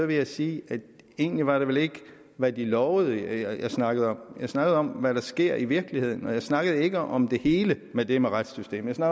vil jeg sige at egentlig var det ikke hvad de lovede jeg snakkede om jeg snakkede om hvad der sker i virkeligheden og jeg snakkede ikke om det hele med det med retssystemet jeg